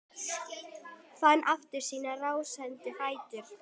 Fann aftur sína rásandi fætur.